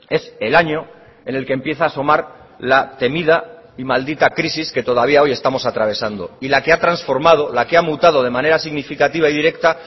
es el año en el que empieza asomar la temida y maldita crisis que todavía hoy estamos atravesando y la que ha transformado la que ha mutado de manera significativa y directa